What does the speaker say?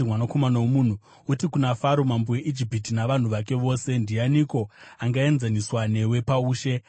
“Mwanakomana womunhu, uti kuna Faro mambo weIjipiti navanhu vake vose: “ ‘Ndianiko angaenzaniswa nemi paushe?